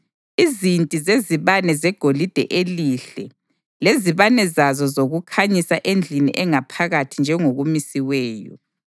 izinti zezibane zegolide elihle lezibane zazo zokukhanyisa endlini engaphakathi njengokumisiweyo,